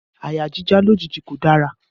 Àyà jíjá lójijì kò dára